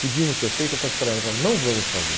Podíamos ter feito, eu falei assim para ela, não vamos fazer.